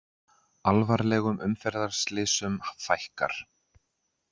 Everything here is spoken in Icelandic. Alvarlegum umferðarslysum fækkar